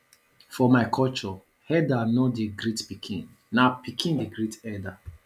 for my culture elda no dey greet pikin na pikin dey great elda